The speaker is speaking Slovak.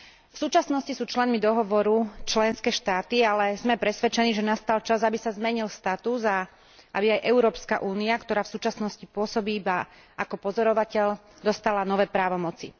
V súčasnosti sú členmi dohovoru členské štáty, ale sme presvedčení, že nastal čas, aby sa zmenil status a aby aj Európska únia, ktorá v súčasnosti pôsobí iba ako pozorovateľ, dostala nové právomoci.